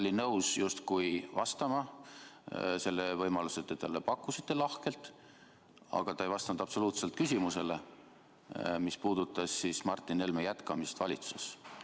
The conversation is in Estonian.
Ta oli nõus justkui vastama, te selle võimaluse talle lahkelt pakkusite, aga ta ei vastanud absoluutselt küsimusele, mis puudutas Martin Helme jätkamist valitsuses.